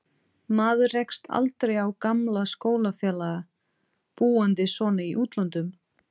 Maður rekst aldrei á gamla skólafélaga, búandi svona í útlöndum.